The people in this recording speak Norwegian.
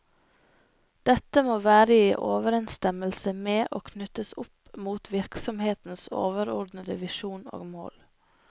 Dette må være i overensstemmelse med og knyttes opp mot virksomhetens overordnede visjoner og mål.